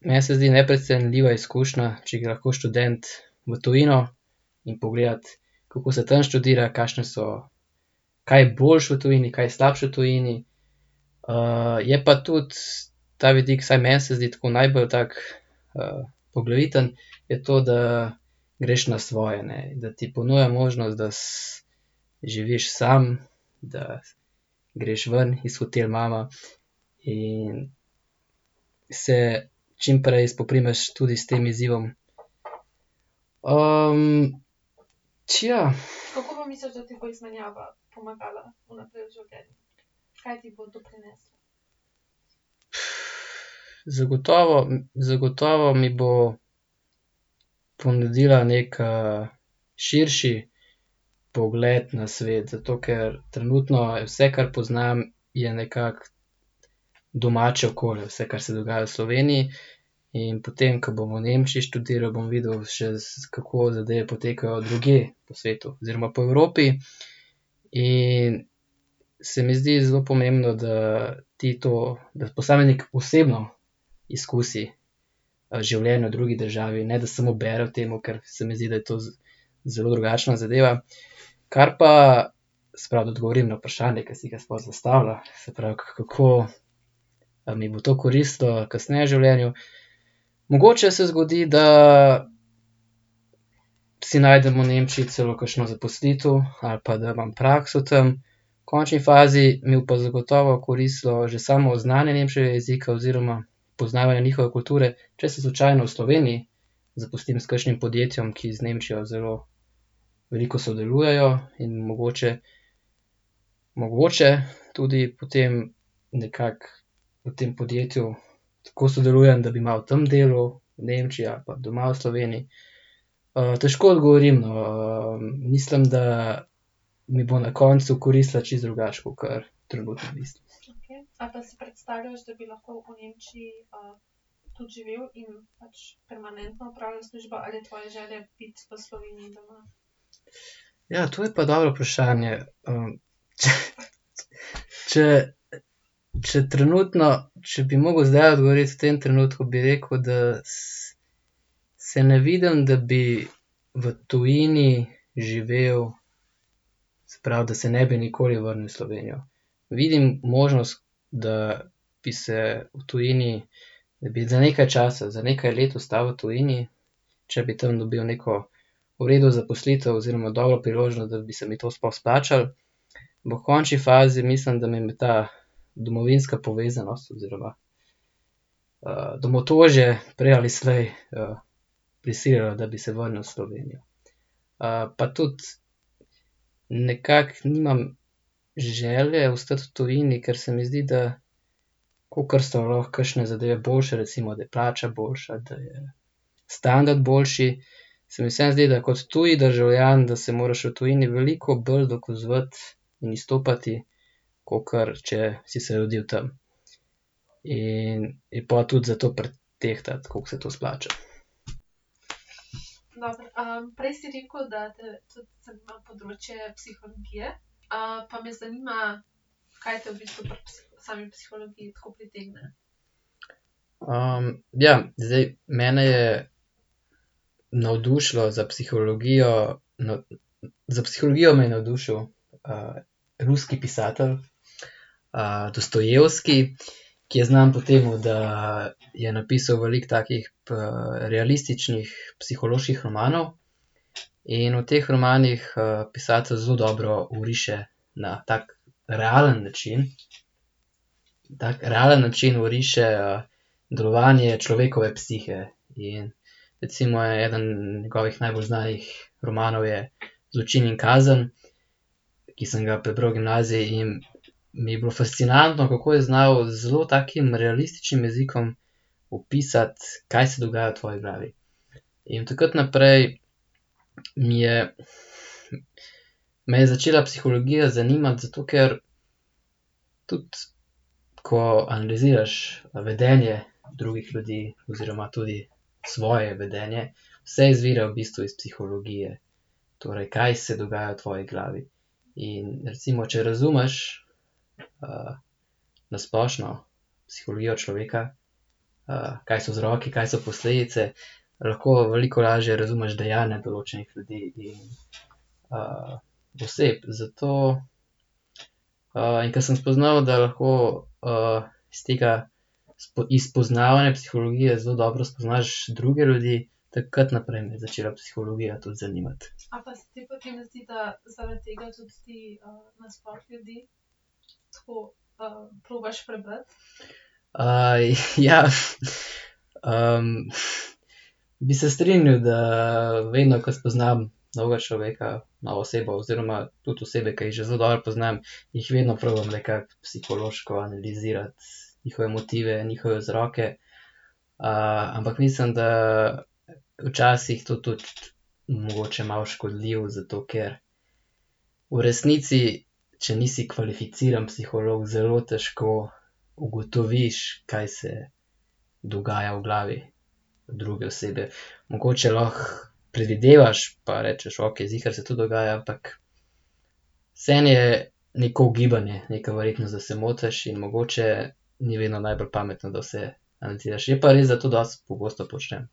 meni se zdi neprecenljiva izkušnja, če gre lahko študent v tujino in pogledati, kako se tam študira, kakšne so, kaj je boljše v tujini, kaj je slabše v tujini. je pa tudi ta vidik, vsaj meni se zdi tako, najbolj tak, poglaviten, je to, da greš na svoje, ne, da ti ponuja možnost, da živiš sam, da greš ven iz hotel mama in se čimprej spoprimeš tudi s tem izzivom. ... Zagotovo zagotovo mi bo ponudila neki, širši pogled na svet, zato ker trenutno je vse, kar poznam, je nekako domače okolje, vse, kar se dogaja v Sloveniji. In potem, ko bom v Nemčiji študiral, bom videl še kako zadeve potekajo drugje po svetu oziroma po Evropi. In se mi zdi zelo pomembno, da ti to, da posameznik osebno izkusi, življenje v drugi državi, ne da samo bere o tem, ker se mi zdi, da je to zelo drugačna zadeva. Kar pa, se pravi, da odgovorim na vprašanje, ki si ga sploh zastavlja, se pravi, kako, mi bo to koristilo kasneje v življenju. Mogoče se zgodi, da si najdem v Nemčiji celo kakšno zaposlitev ali pa da imam prakso tam, v končni fazi mi bo pa zagotovo koristilo že samo znanje nemškega jezika oziroma poznavanje njihove kulture, če se slučajno v Sloveniji zaposlim s kakšnim podjetjem, ki z Nemčijo zelo veliko sodelujejo, in mogoče, mogoče tudi potem nekako v tem podjetju tako sodelujem, da bi malo tam delal, v Nemčiji, ali pa doma v Sloveniji. težko odgovorim, mislim, da mi bo na koncu koristila čisto drugače kakor . Ja, to je pa dobro vprašanje, če, če trenutno, če bi mogel zdajle odgovoriti v tem trenutku, bi rekel, da se ne vidim, da bi v tujini živel, se pravi, da se ne bi nikoli vrnil v Slovenijo. Vidim možnost, da bi se v tujini, da bi za nekaj časa, za nekaj let ostal v tujini, če bi tam dobil neko v redu zaposlitev oziroma dobro priložnost, da bi se mi to sploh izplačalo. Ampak v končni fazi mislim, da bi me ta domovinska povezanost oziroma, domotožje prej ali slej, prisililo, da bi se vrnil v Slovenijo. pa tudi nekako nimam želje ostati v tujini, ker se mi zdi, da kakor so lahko kakšne zadeve boljše, recimo, da je plača boljša, da je standard boljši, se mi vseeno zdi, da kot tuj državljan, da se moraš v tujini veliko bolj dokazovati in izstopati, kakor če si se rodil tam. In je pol tudi zato pretehtati, koliko se to izplača. ja, zdaj mene je navdušila za psihologijo ... Za psihologijo me je navdušil, ruski pisatelj, Dostojevski , ki je znan po tem, da je napisal veliko takih realističnih psiholoških romanov. In v teh romanih, pisatelj zelo dobro oriše na tak realen način, tak realen način oriše, delovanje človekove psihe in recimo eden njegovih najbolj znanih romanov je Zločin in kazen, ki sem ga prebral v gimnaziji, in mi je bilo fascinantno, kako je znal z zelo takim realističnim jezikom opisati, kaj se dogaja v tvoji glavi. In od takrat naprej mi je , me je začela psihologija zanimati, zato ker tudi ko analiziraš vedenje drugih ljudi oziroma tudi svoje vedenje, vse izvira v bistvu iz psihologije, torej kaj se dogaja v tvoji glavi. In recimo, če razumeš, na splošno psihologijo človeka, kaj so vzroki, kaj so posledice, lahko veliko lažje razumeš dejanja določenih ljudi in, oseb, zato ... in ko sem spoznal, da lahko, iz tega iz poznavanja psihologije zelo dobro spoznaš druge ljudi, takrat naprej me je začela psihologija tudi zanimati. ja, . bi se strinjal, da vedno, ke spoznam novega človeka, novo osebo oziroma tudi osebe, ke jih že zelo dobro poznam, jih vedno probam nekako psihološko analizirati. Njihove motive, njihove vzroke, ampak mislim, da včasih to tudi mogoče malo škodljivo, zato ker v resnici, če nisi kvalificiran psiholog, zelo težko ugotoviš, kaj se dogaja v glavi druge osebe, mogoče lahko predvidevaš pa rečeš, okej, ziher se to dogaja, ampak vseeno je neko ugibanje, neka verjetnost, da se motiš, in mogoče ni vedno najbolj pametno, da vse analiziraš, je pa res, da to dosti pogosto počnem.